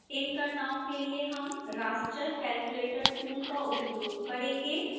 इन गणनाओं के लिए हम raster calculator tool का उपयोग करेंगे